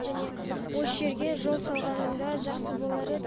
және осы жерге жол салғанында жақсы болар еді